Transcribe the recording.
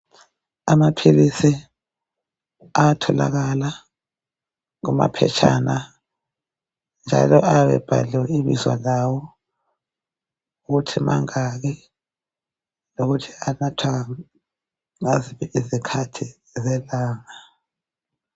Amaphilisi ayatholakala kumaphetshana njalo ayabe ebhaliwe ibizo lawo ukuthi mangaki lokuthi anathwa ngaziphi izikhathi zelanga.